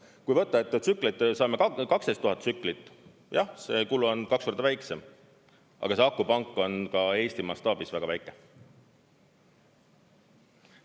Kui võtta, et tsükleid saame 12 000 tsüklit, siis jah, see kulu on kaks korda väiksem, aga see akupank on ka Eesti mastaabis väga väike.